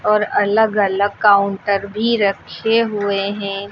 और अलग अलग काउंटर भी रखे हुए हैं।